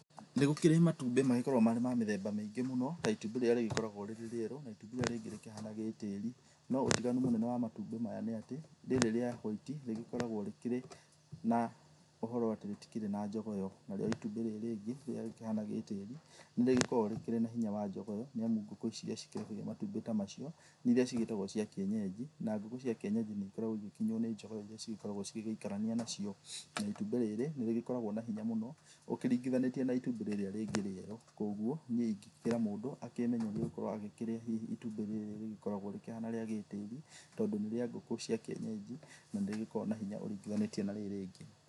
Nĩ gũkĩrĩ matumbĩ magĩkoragwo marĩ mamĩthemba mĩingĩ mũno ta itumbĩ rĩrĩa rĩkoragwo rĩrĩ rĩero na itumbĩ rĩrĩa rĩngĩ rĩkĩhana rĩa tĩri noũtiganu mũnene wa matumbĩ maya nĩa tĩ rĩrĩ rĩa white nĩrĩkoragwo rĩkĩrĩ na ũhoro atĩ rĩtirĩ jogoo ĩyo, narĩo itumbĩ rĩrĩ rĩngĩ rĩhana rĩa tĩri, nĩrĩkoragwa rĩna hinya wa jogoo nĩamu ngũkũ ici cikoragwo na matumbĩ ta macio nĩ iria cigĩtagwo cia kĩenyeji na ngũkũ cia kieyeji nĩikoragwo ĩgĩkinywa nĩ jogoo irĩa cĩgekoragwo cigĩgĩkarania nacio, na itumbĩ rĩrĩ nĩrĩgĩkoragwa na hinya mũno ũringithanĩtie na itumbĩ rĩrĩa rĩngĩ rĩerũ, kwoguo niĩ ndíikĩkĩra mũndũ amenyerie hihi itumbĩ rĩrĩ rĩkoragwo rĩkĩhana rĩa gĩtĩri t,ondũ nĩrĩangũkũ cia kienyeji na rĩrĩkoragwa na hinya ũringithanĩtie na rĩrĩ rĩngĩ.